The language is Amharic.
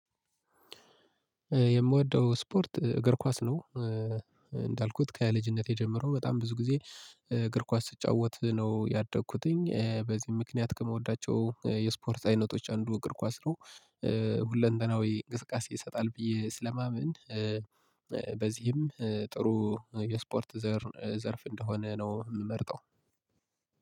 የምወደው ስፖርት እግር ኳስ ነው። እንዳልኩት ከያ ልጅነቴ ጀምሮ በጣም ብዙ ጊዜ እግር ኳስ ስጫወት ነው ያደኩትኝ በዚህም ምክንያት ከምወዳቸው የስፖርት አይነቶች አንዱ እግር ኳስ ነው። ሁለንተናዊ እንቅስቃሴ ይሰጣል ብዬ ስለማመን። በዚህም ጥሩ የስፖርት ዘር ዘርፍ እንደሆነ ነው የምመርጠው